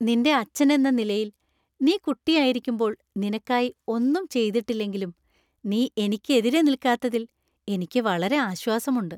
നിന്‍റെ അച്ഛൻ എന്ന നിലയിൽ, നീ കുട്ടിയായിരിക്കുമ്പോൾ നിനക്കായി ഒന്നും ചെയ്തിട്ടില്ലെങ്കിലും നീ എനിക്കെതിരെ നില്ക്കാത്തതിൽ എനിക്ക് വളരെ ആശ്വാസമുണ്ട്.